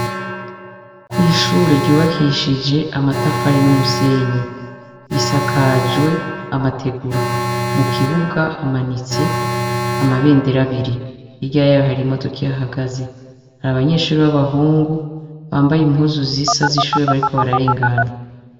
Kw'ishure ryubakishije amatafari n'umusenyi. Risakajwe amategura, mu kibuga hamanitse amabendera abiri. Hirya y'aho hari imodoka ihahagaze, hari abanyeshure b'abahungu bambaye impuzu zisa z'ishure bariko bararengana.